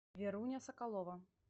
веруня соколова